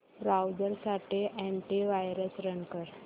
browser साठी antivirus run कर